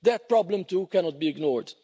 That problem, too, cannot be ignored.